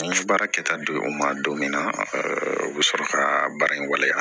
N ye baara kɛta di u ma don min na u bɛ sɔrɔ ka baara in waleya